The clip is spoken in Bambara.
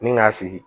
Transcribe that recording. Ni k'a sigi